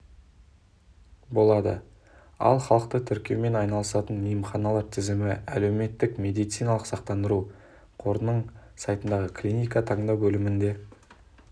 болады ал халықты тіркеумен айналысатын емханалар тізімі әлеуметтік медициналық сақтандыру қорының сайтындағы клиника таңдау бөлімінде